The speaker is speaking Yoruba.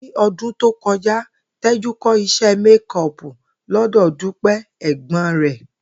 Ní o̩dún tó ko̩já, Té̩jú kó̩ isé̩ méko̩ò̩pù ló̩dò̩ Dúpé̩ è̩gbó̩n rè̩